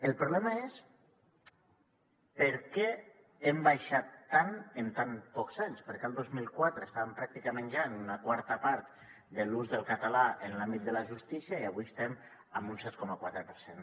el problema és per què hem baixat tant en tan pocs anys per què el dos mil quatre estàvem pràcticament ja en una quarta part de l’ús del català en l’àmbit de la justícia i avui estem en un set coma quatre per cent